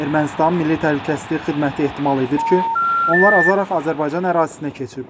Ermənistan Milli Təhlükəsizlik Xidməti ehtimal edir ki, onlar azaraq Azərbaycan ərazisinə keçib.